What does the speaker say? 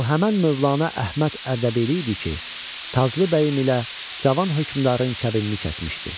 Bu həmin Mövlana Əhməd Ərdəbili idi ki, Taclı bəyim ilə Cavan hökmdarın kəbinini kəsmişdi.